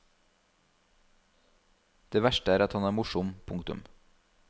Det verste er at han er morsom. punktum